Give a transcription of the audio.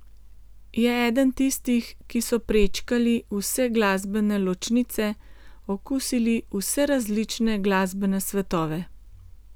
Je eden tistih, ki so prečkali vse glasbene ločnice, okusili vse različne glasbene svetove.